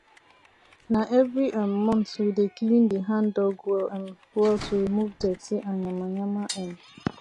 nah every um month we dey clean the handdug well um well to remove dirty and yamayama um